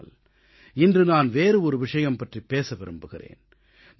ஆனால் இன்று நான் வேறு ஒரு விஷயம் பற்றிப் பேச விரும்புகிறேன்